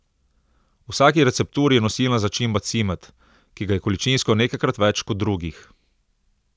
V vsaki recepturi je nosilna začimba cimet, ki ga je količinsko nekajkrat več kot drugih.